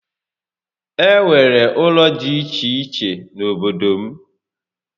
E nwere ụlọ dị iche iche n'obodo m